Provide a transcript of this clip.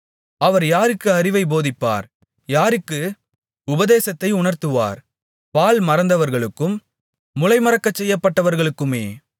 அவர் யாருக்கு அறிவைப் போதிப்பார் யாருக்கு உபதேசத்தை உணர்த்துவார் பால்மறந்தவர்களுக்கும் முலை மறக்கச்செய்யப்பட்டவர்களுக்குமே